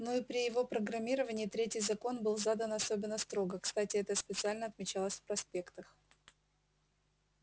ну и при его программировании третий закон был задан особенно строго кстати это специально отмечалось в проспектах